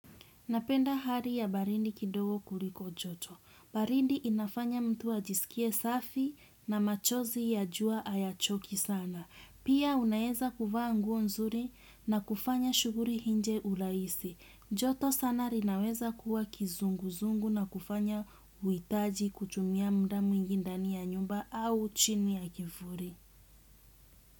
Napenda hali ya baridi kidogo kuliko joto. Baridi inafanya mtu ajisikie safi na machozi ya jua hayachoki sana. Pia unaweza kuvaa nguo nzuri na kufanya shughuli nje urahisi. Joto sana linaweza kuwa kizunguzungu na kufanya uhitaji kutumia muda mwingi ndani ya nyumba au chini ya kivuli.